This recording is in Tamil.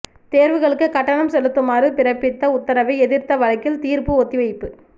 தேர்வுகளுக்கு கட்டணம் செலுத்துமாறு பிறப்பித்த உத்தரவை எதிர்த்த வழக்கில் தீர்ப்பு ஒத்திவைப்பு